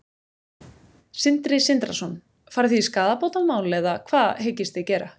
Sindri Sindrason: Farið þið í skaðabótamál eða hvað hyggist þið gera?